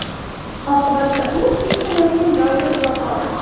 Oqibatda u ish qilayotgan joyida uxlab qoldi.